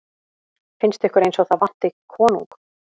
Finnst ykkur eins og það vanti konung?